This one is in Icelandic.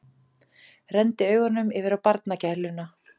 Renndi augunum yfir á barnagæluna.